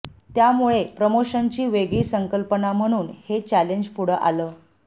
त्यामुळे प्रमोशनची वेगळी संकल्पना म्हणून हे चॅलेंज पुढे आलं